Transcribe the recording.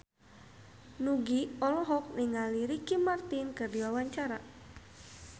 Nugie olohok ningali Ricky Martin keur diwawancara